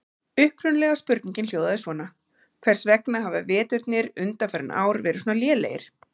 Upprunalega spurningin hljóðaði svona: Hvers vegna hafa veturnir undanfarin ár verið svona lélegir?